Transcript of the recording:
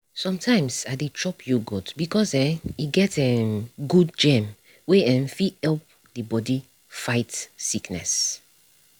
sometimes i dey chop yoghurt because um e get um good germ wey um fit help the body fight sickness